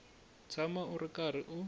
tshama u ri karhi u